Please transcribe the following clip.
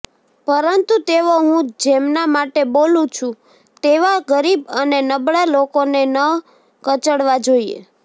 પરંતુ તેઓ હું જેમના માટે બોલું છું તેવા ગરીબ અને નબળા લોકોને ન કચડવા જોઇએ